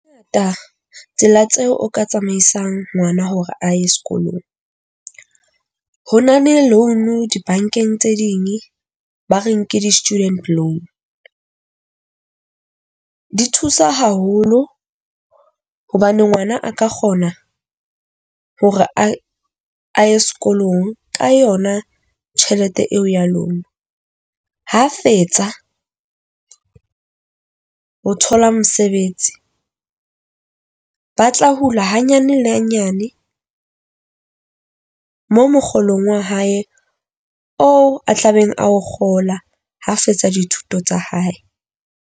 Ngata tsela tseo o ka tsamaisang ngwana hore a ye sekolong. Ho na le loan dibankeng tse ding ba re nke di-student loan. Di thusa haholo hobane ngwana a ka kgona hore aye a ye sekolong ka yona tjhelete eo ya lona ha fetsa ho thola mosebetsi ba tla hula hanyane hanyane mo mokgolong wa hae oo a tlabeng a o kgola, ha fetsa dithuto tsa hae.